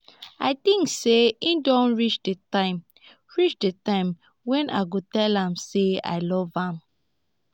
i think say e don reach the time reach the time wen i go tell am say i love am